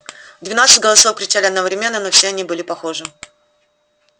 двенадцать голосов кричали одновременно но все они были похожи